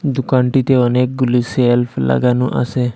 দুকানটিতে অনেকগুলি সেল্ফ লাগানো আসে।